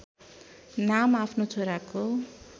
नाम आफ्नो छोराको